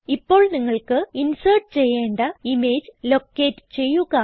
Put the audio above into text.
ഇപ്പോൾ നിങ്ങൾക്ക് ഇൻസേർട്ട് ചെയ്യേണ്ട ഇമേജ് ലൊക്കേറ്റ് ചെയ്യുക